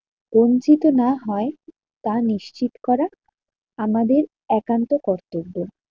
বঞ্চিত না হয় তা নিশ্চিত করা, আমাদের একান্ত কর্তব্য।